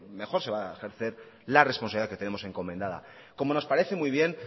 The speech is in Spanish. mejor se va a ejercer la responsabilidad que tenemos encomendada como nos parece muy bien